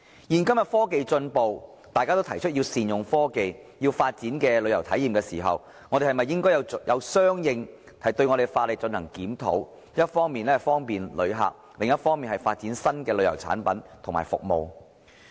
現今科技進步，當大家提出要善用科技、要發展新旅遊體驗時，我們是否應該相應檢討法例，一方面方便旅客，另一方面發展新的旅遊產品和服務？